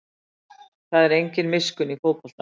Það er engin miskunn í fótboltanum